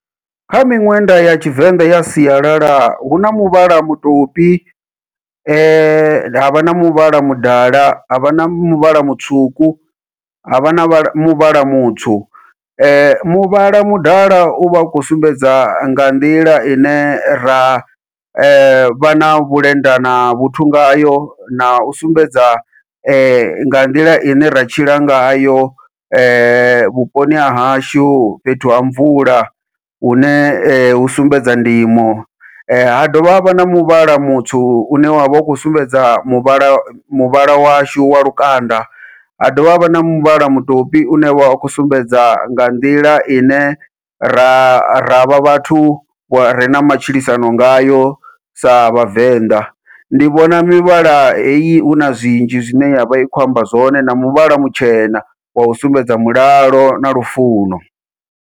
Kha miṅwenda ya tshivenḓa ya sialala huna muvhala mutopi, havha na muvhala mudala, havha na muvhala mutswuku, havha na muvhala mutswu, muvhala mudala uvha u khou sumbedza nga nḓila ine ra vha na vhulenda na vhuthu ngayo nau sumbedza nga nḓila ine ra tshila ngayo vhuponi hahashu fhethu ha mvula hune hu sumbedza ndimo, ha dovha havha na muvhala mutswu une wa vha u khou sumbedza muvhala muvhala washu wa lukanda, ha dovha havha na muvhala mutopi une wa khou sumbedza nga nḓila ine ra ra vha vhathu vhare na matshilisano ngayo sa vhavenḓa. Ndi vhona mivhala heyi huna zwinzhi zwine yavha i khou amba zwone na muvhala mutshena wau sumbedza mulalo na lufuno.